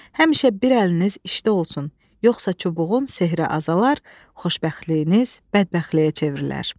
Həmişə bir əliniz işdə olsun, yoxsa çubuğun sehri azalar, xoşbəxtliyiniz bədbəxtliyə çevrilər.